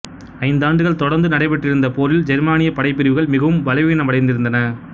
ஐந்தாண்டுகள் தொடர்ந்து நடைபெற்றிருந்த போரில் ஜெர்மானியப் படைப்பிரிவுகள் மிகவும் பலவீனமடைந்திருந்தன